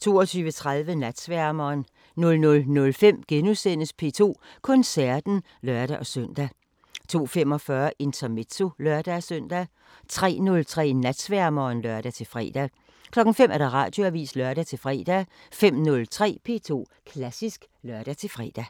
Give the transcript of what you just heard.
22:30: Natsværmeren 00:05: P2 Koncerten *(lør-søn) 02:45: Intermezzo (lør-søn) 03:03: Natsværmeren (lør-fre) 05:00: Radioavisen (lør-fre) 05:03: P2 Klassisk (lør-fre)